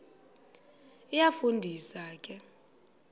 iyafu ndisa ke